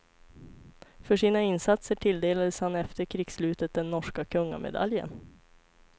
För sina insatser tilldelades han efter krigsslutet den norska kungamedaljen.